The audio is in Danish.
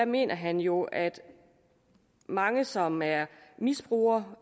mener han jo at mange som er misbrugere